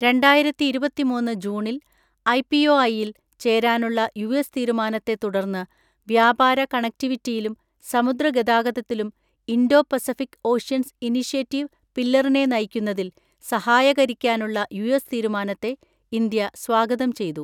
രണ്ടായിരത്തിഇരുപത്തിമൂന്ന് ജൂണിൽ ഐപിഒഐയിൽ ചേരാനുള്ള യുഎസ് തീരുമാന ത്തെ തുടർന്ന് വ്യാപാര കണക്റ്റിവിറ്റിയിലും സമുദ്ര ഗതാഗതത്തിലും ഇൻഡോ പസഫിക് ഓഷ്യൻസ് ഇനീഷ്യേറ്റീവ് പില്ലറിനെ നയിക്കുന്നതിൽ സഹായകരിക്കാനുള്ള യുഎസ് തീരുമാനത്തെ ഇന്ത്യ സ്വാഗതം ചെയ്തു.